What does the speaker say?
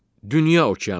Dünya okeanı.